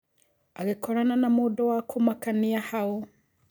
Agĩkorana na mũndũ wa kũmakania hau.